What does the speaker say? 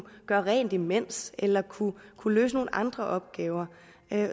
gøre rent imens eller kunne kunne løse nogle andre opgaver